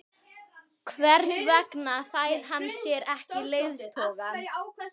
Hver vegna fær hann sér ekki leiðtoga?